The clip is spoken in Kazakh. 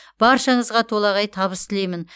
баршаңызға толағай табыс тілеймін